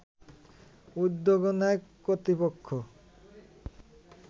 উদ্যোগও নেয় কর্তৃপক্ষ